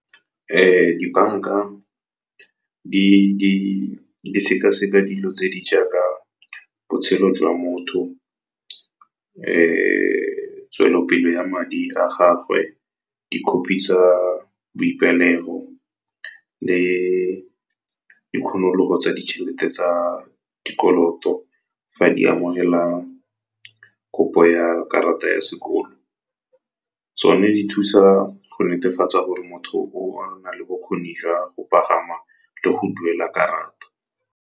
Dibanka di sekaseka dilo tse di jaaka botshelo jwa motho, tswelelopele ya madi a gagwe, di-copy tsa boipelego le tsa ditšhelete tsa dikoloto fa di amogela kopo ya karata ya sekolo. Tsone di thusa go netefatsa gore motho o na le bokgoni jwa go pagama le go duela karata.